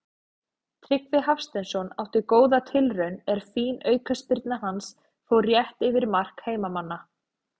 Tryggvi Hafsteinsson átti góða tilraun er fín aukaspyrna hans fór rétt yfir mark heimamanna.